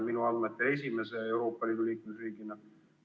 Seda on ta minu andmetel teinud esimese Euroopa riigina.